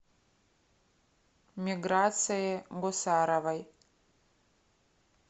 миграции гусаровой